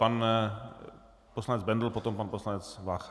Pan poslanec Bendl, potom pan poslanec Vácha.